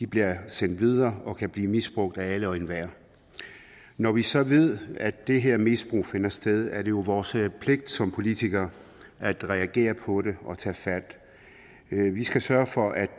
bliver sendt videre og kan blive misbrugt af alle og enhver når vi så ved at det her misbrug finder sted er det jo vores pligt som politikere at reagere på det og tage fat vi skal sørge for at